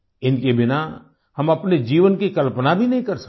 इनके बिना हम अपने जीवन की कल्पना भी नहीं कर सकते